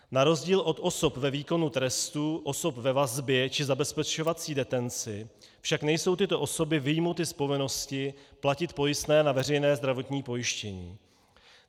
Na rozdíl od osob ve výkonu trestu, osob ve vazbě či zabezpečovací detenci však nejsou tyto osoby vyjmuty z povinnosti platit pojistné na veřejné zdravotní pojištění.